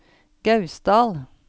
Gausdal